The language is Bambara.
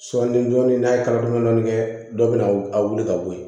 Sɔɔni dɔɔnin n'a ye kala dɔni dɔni kɛ dɔ bɛ na w a wuli ka bɔ yen